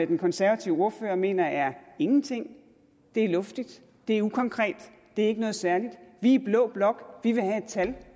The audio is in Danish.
den konservative ordfører mener er ingenting det er luftigt det er ukonkret det er ikke noget særligt vi i blå blok vil have et tal